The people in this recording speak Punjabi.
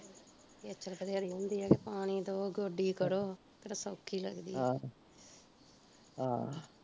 ਖੇਚਲ ਵਧੇਰੀ ਹੁੰਦੀ ਐ ਕਿ ਪਾਣੀ ਦਉ, ਗੋਡੀ ਕਰੋ, ਕਿਹੜਾ ਸੌਖੀ ਲੱਗਦੀ ਐ ਆਹ ਆਹ